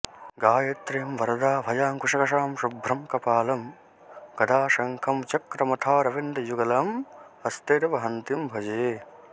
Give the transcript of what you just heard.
गायत्रीं वरदाऽभयाङ्कुशकशां शुभ्रं कपालं गदा शङ्खं चक्रमथारविन्दयुगलं हस्तैर्वहन्तीं भजे